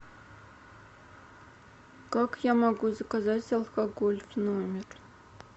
как я могу заказать алкоголь в номер